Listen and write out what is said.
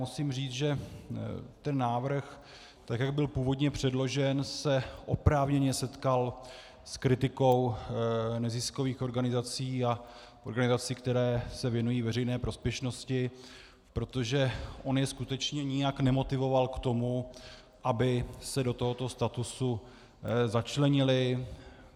Musím říct, že ten návrh, tak jak byl původně předložen, se oprávněně setkal s kritikou neziskových organizací a organizací, které se věnují veřejné prospěšnosti, protože on je skutečně nijak nemotivoval k tomu, aby se do tohoto statusu začlenily.